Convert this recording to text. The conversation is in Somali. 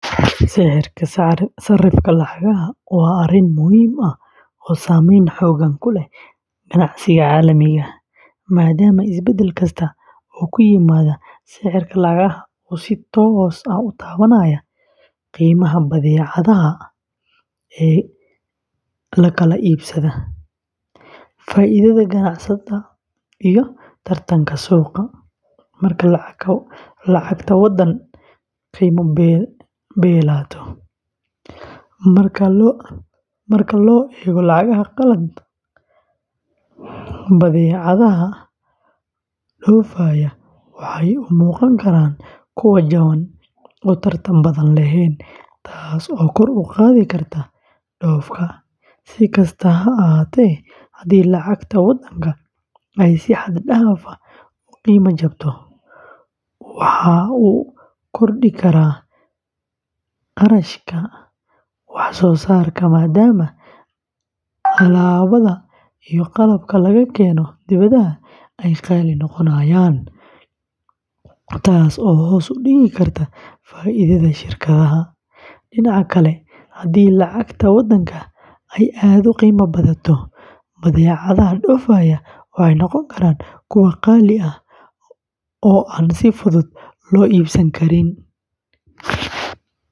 Sicirka sarrifka lacagaha waa arrin muhiim ah oo saameyn xooggan ku leh ganacsiga caalamiga ah, maadaama isbedel kasta oo ku yimaada sicirka lacagaha uu si toos ah u taabanayo qiimaha badeecadaha la kala iibsado, faa’iidada ganacsatada, iyo tartanka suuqa. Marka lacagta waddan qiima beelato marka loo eego lacagaha qalaad, badeecadaha dhoofaya waxay u muuqan karaan kuwo jaban oo tartan badan leh, taas oo kor u qaadi karta dhoofka. Si kastaba ha ahaatee, haddii lacagta waddanka ay si xad dhaaf ah u qiimo jabto, waxa uu kordhi karaa kharashka wax soo saarka maadaama alaabada iyo qalabka laga keeno dibadda ay qaali noqonayaan, taas oo hoos u dhigi karta faa’iidada shirkadaha. Dhinaca kale, haddii lacagta waddanka ay aad u qiimo badato, badeecadaha dhoofaya waxay noqon karaan kuwo qaali ah oo aan si fudud loo iibsan karin.